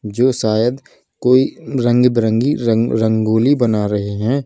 जो शायद कोई रंग बिरंगी रंग रंगोली बना रहे हैं।